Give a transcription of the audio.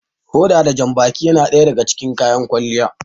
Hoda da janbaki yana daga cikin kayan kwalliya.